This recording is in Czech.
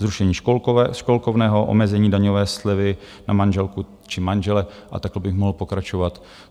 Zrušení školkovného, omezení daňové slevy na manželku či manžela, a takhle bych mohl pokračovat.